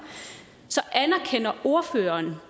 så anerkender ordføreren